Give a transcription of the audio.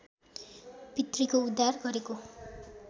पितृको उद्धार गरेको